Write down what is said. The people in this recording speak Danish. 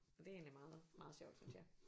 Og det er egentlig meget meget sjovt synes jeg